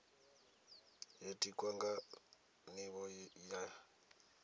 yo tikwaho nga nivho ya